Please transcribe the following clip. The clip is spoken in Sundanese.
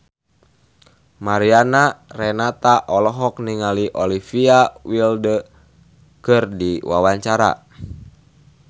Mariana Renata olohok ningali Olivia Wilde keur diwawancara